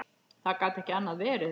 Það gat ekki annað verið.